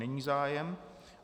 Není zájem.